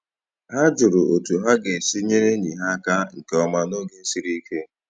Ha jụrụ otu ha ga-esi nyere enyi ha aka nke ọma n’oge siri ike